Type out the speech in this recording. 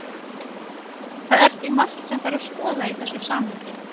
Það er því margt sem þarf að skoða í þessu samhengi.